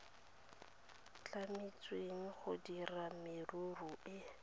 tlametsweng go dira merero e